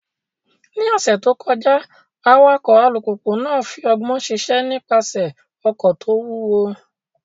Ní ọ̀sẹ̀ tó kọjá, awakọ̀ alùpùpù náà fi ọgbọ́n ṣiṣẹ́ nípasẹ̀ ọkọ̀ tó wúwo.